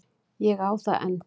Ég á það enn.